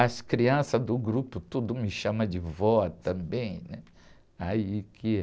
As crianças do grupo tudo me chama de vó também, né? Aí, que..